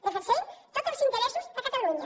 defen sem tots els interessos a catalunya